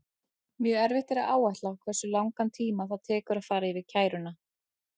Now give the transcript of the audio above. Mjög erfitt er að áætla hversu langan tíma það tekur að fara yfir kæruna.